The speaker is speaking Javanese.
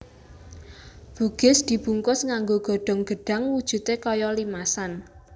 Bugis dibungkus nganggo godhong gedhang wujudé kaya limasan